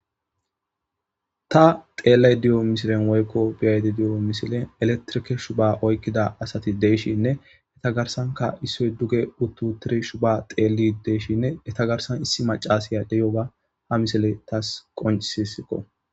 Ta xeelley diyo misilen woykko biyaydi diyo misile eletrikeshu ba oykkida asati deeshinne eta garsanka issoy duge uttu tirishu ba xeeli deeshinne eta garsan issi macasiya deyo ga hamisile taas qoncisisikko.